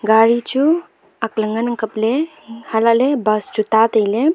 gari chu akla nganang kapley hailaley bus chu ta tailey.